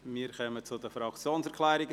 Wir kommen zu den Fraktionserklärungen;